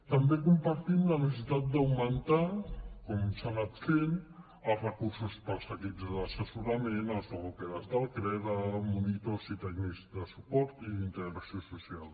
també compartim la necessitat d’augmentar com s’ha anat fent els recursos per als equips d’assessorament els logopedes del creda monitors i tècnics de suport i d’integració social